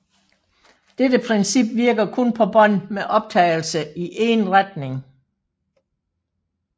Dette princip virker kun på bånd med optagelse i en retning